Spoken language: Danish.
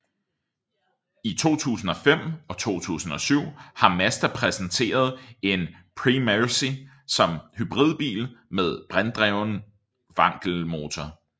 I 2005 og 2007 har Mazda præsenteret en Premacy som hybridbil med brintdrevet wankelmotor